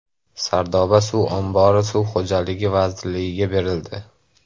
Sardoba suv ombori Suv xo‘jaligi vazirligiga berildi.